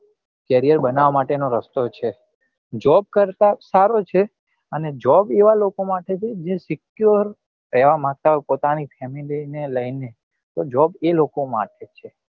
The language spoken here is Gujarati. career બનવવા માટે નો રસ્તો છે job કરતા સારો છે અને job એવા લોકો માટે છે જે secure રેવા માંગતા હોય પોતાની family ને લઇ ને તો job એ લોકો માટે છે